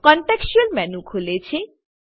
contextual menu ખુલે છે